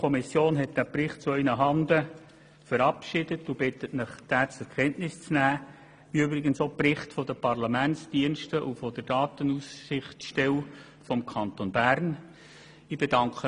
Die GPK hat diesen Bericht zu Ihren Handen einstimmig verabschiedet und bittet Sie, diesen, wie im Übrigen auch die Berichte der Parlamentsdienste und der Datenschutzaufsichtsstelle des Kantons Bern, zur Kenntnis zu nehmen.